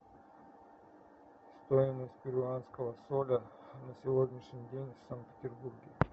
стоимость перуанского соля на сегодняшний день в санкт петербурге